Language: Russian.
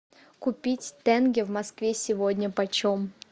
купить тенге в москве сегодня почем